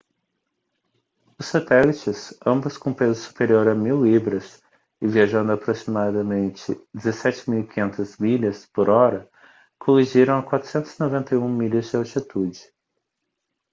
os satélites ambos com peso superior a 1.000 libras e viajando a aproximadamente 17.500 milhas por hora colidiram a 491 milhas de altitude